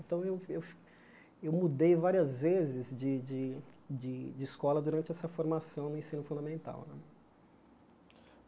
Então, eu eu fi eu mudei várias vezes de de de escola durante essa formação no ensino fundamental né.